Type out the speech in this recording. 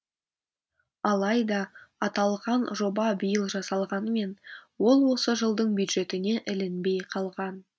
алайда аталған жоба биыл жасалғанмен ол осы жылдың бюджетіне ілінбей қалған